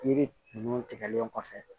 Yiri ninnu tigɛlen kɔfɛ